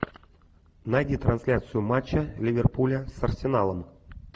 найди трансляцию матча ливерпуля с арсеналом